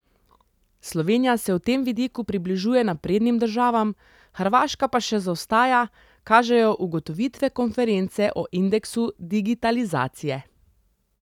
Slovenija se v tem vidiku približuje naprednim državam, Hrvaška pa še zaostaja, kažejo ugotovitve konference o indeksu digitalizacije.